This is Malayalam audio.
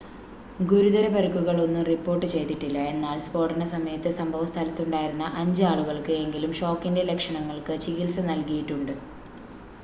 ഗുരുതര പരുക്കുകൾ ഒന്നും റിപ്പോർട്ട് ചെയ്തിട്ടില്ല എന്നാൽ സ്ഫോടന സമയത്ത് സംഭവ സ്ഥലത്തുണ്ടായിരുന്ന അഞ്ച് ആളുകൾക്ക് എങ്കിലും ഷോക്കിൻ്റെ ലക്ഷണങ്ങൾക്ക് ചികിൽസ നൽകിയിട്ടുണ്ട്